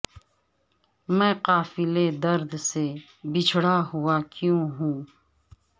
میں قافلہ ء درد سے بچھڑا ہوا کیوں ہوں